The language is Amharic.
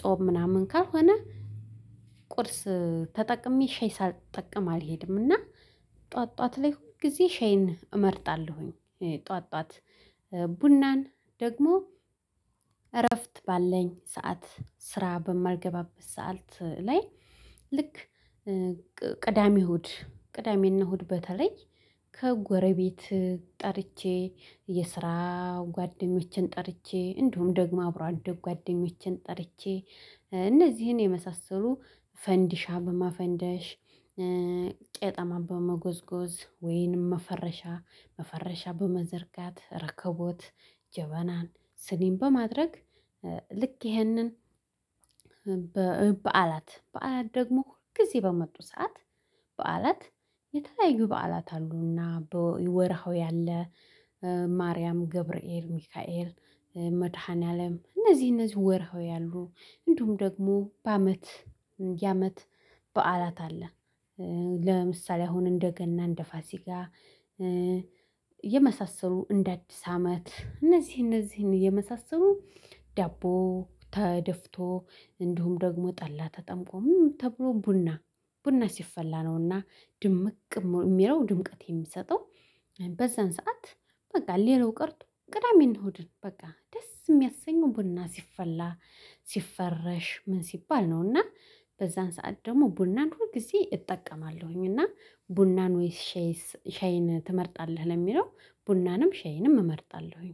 ጾም ምናምን ካልሆነ ቁርስ ተጠቅሜ ሻይ ሳልጠቀም አልሄድምና። ጥዋት ጥዋት ላይ ሁል ጊዜ ሻይን እመርጣለሁኝ። ጥዋት ጥዋት ቡናን ደግሞ እረፍት ባለኝ ሰዓት ስራ በማልገባበት ሰዓት ላይ። ልክ ቅዳሜ እሁድ ቅዳሜና እሁድ በተለይ ከጎረቤት ጠርቼ የስራ ጓደኞቼን ጠርቼ እንዲሁም ደግሞ አብሮ አደግ ጓደኞቼን ጠርቼ እነዚህን የመሳሰሉ ፈንዲሻ በማፈንደሽ ቄጣማ በመጎዝጎዝ ወይንም መፈረሻ መፈረሻ በመዘርጋት ረከቦት ጀበናን ስኒም በማድረግ ልክ ይኸንን። በዓላት በዓላት ደግሞ ሁል ጊዜ በመጡ ሰዓት በዓላት የተለያዩ በዓላት አሉና ወርሃዊ አለ። ማርያም ገብርኤል ሚካኤል መድኃኒዓለም እነዚህ እነዚህ ወርሃዊ አሉ። እንዲሁም ደግሞ በአመት የዓመት በዓላት አለ። ለምሳሌ አሁን እንደ ገና እንደ ፋሲጋ። የመሳሰሉ እንደ አዲስ አመት እነዚህ እነዚህን የመሳሰሉ ዳቦ ተደፍቶ እንዲሁም ደግሞ ጠላ ተጠምቆ ምኑ ተብሎ ቡና ቡና ሲፈላ ነውና ድምቅ እሚለው ድምቅት የሚሰጠው። በዛን ሰዓት በቃ ሌላው ቀርቶ ቅዳሜን እሁድን በቃ ደስ እሚያሰኘው ቡና ሲፈላ ሲፈረሽ ምን ሲባል ነው? እና በዛን ሰዓት ደግሞ ቡናን ሁል ጊዜ እጠቀማለሁኝ። እና ቡናን ወይስ ሻይን ትመርጣለህ? ለሚለው ቡናንም ሻይንም እመርጣለሁኝ